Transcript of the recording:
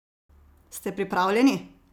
Ste pripravljeni?